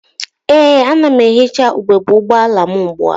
Ee, ana m ehicha ugebe ụgbọala m ugbua.